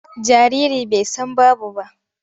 Jariri bai san babu ba.